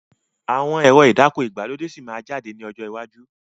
Àwọn ẹ̀rọ ìdáko ìgbàlódé síí má jáde ní ọjọ́ iwájú